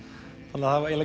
þannig að það